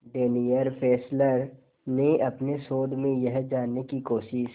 Daniel Fessler ने अपने शोध में यह जानने की कोशिश